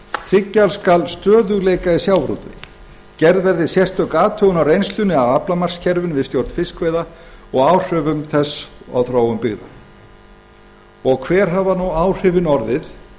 tryggja skal stöðugleika í sjávarútvegi gerð verði sérstök athugun á reynslunni af aflamarkskerfinu við stjórn fiskveiða og áhrifum þess á þróun byggða og hver hafa nú áhrifin orðið